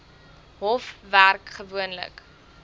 hof werk gewoonlik